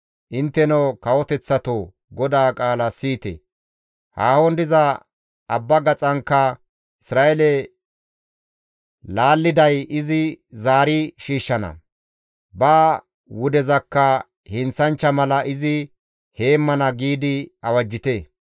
«Intteno kawoteththatoo GODAA qaala siyite! Haahon diza abba gaxatankka, ‹Isra7eele laalliday izi istta zaari shiishshana; ba wudezakka heenththanchcha mala izi heemmana› giidi awajjite.